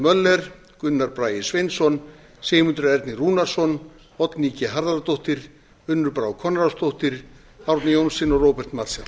möller gunnar bragi sveinsson sigmundur ernir rúnarsson oddný g harðardóttir unnur brá konráðsdóttir árni johnsen og róbert marshall